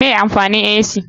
Me amfanin ac?